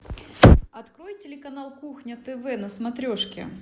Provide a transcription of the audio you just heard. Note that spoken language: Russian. открой телеканал кухня тв на смотрешке